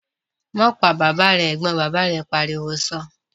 "Má pa bàbà rẹ" Ẹ̀gbọ́n bàbá mi pariwo sọ́ọ́